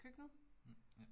Mh, ja